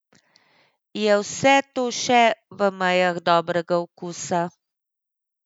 Je vse to še v mejah dobrega okusa?